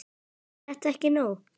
Er þetta ekki nóg?